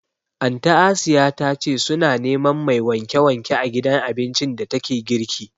Anty Asiya ta ce su na neman mai wanke wanke a gidan abincin da ta ke girki